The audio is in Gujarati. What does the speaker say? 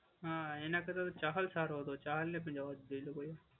હા એના કરતા તો ચહલ સારો હતો. ચહલને પણ લેવો જ જોઈએ એ લોકોએ.